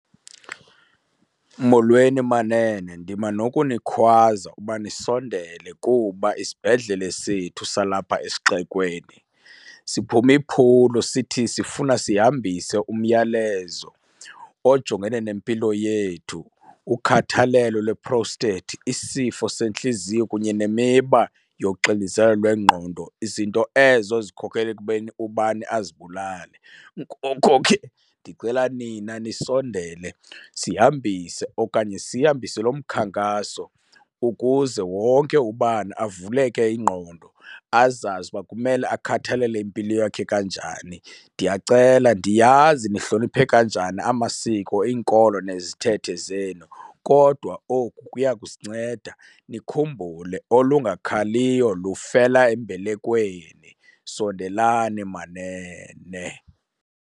Molweni manene, ndima nokunikhwaza uba ndisondele kuba isibhedlele sethu salapha esixekweni siphume iphulo sithi sifuna sihambise umyalezo ojongene nempilo yethu, ukhathalelo lwe-prostate, isifo sentliziyo kunye nemiba yoxinezelo lwengqondo, izinto ezo zikhokelela ekubeni ubani azibulale. Ngoko ke ndicela nina nisondele sihambise okanye sihambise lo mkhankaso ukuze wonke ubani avuleke ingqondo azazi uba kumele akhathalele impilo yakhe kanjani. Ndiyacela, ndiyazi nihloniphe kanjani amasiko, iinkolo nezithethe zenu kodwa oku kuya kusinceda. Nikhumbule olungakhaliyo lufela embelekweni, sondelani manene.